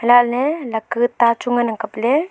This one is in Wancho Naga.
lahle laka ta chu ngan ang kaple.